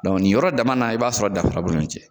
ni yɔrɔ dama na, i b'a sɔrɔ danfara b'u ni ɲɔgɔn cɛ